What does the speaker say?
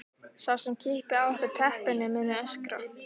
Sá sem kippi af okkur teppinu muni öskra.